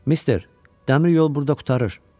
“Mister, dəmir yol burda qurtarır.”